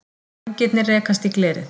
Vængirnir rekast í glerið.